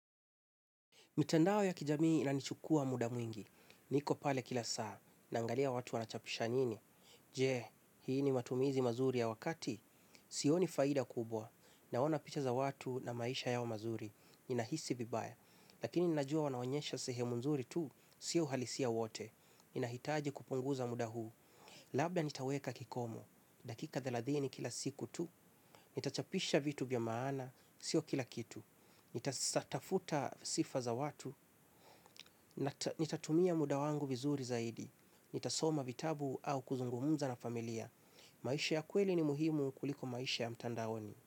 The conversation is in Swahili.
Mitandao ya kijamii inanichukua muda mwingi. Niko pale kila saa. Naangalia watu wanachapisha nini. Je, hii ni matumizi mazuri ya wakati? Sioni faida kubwa. Naona picha za watu na maisha yao mazuri. Ninahisi vibaya. Lakini ninajua wanaonyesha sehemu nzuri tu. Sio uhalisia wote. Ninahitaji kupunguza muda huu. Labda nitaweka kikomo, dakika thelathini kila siku tu, nitachapisha vitu vya maana, sio kila kitu, nitatafuta sifa za watu, nitatumia muda wangu vizuri zaidi, nitasoma vitabu au kuzungumza na familia. Maisha ya kweli ni muhimu kuliko maisha ya mtandaoni.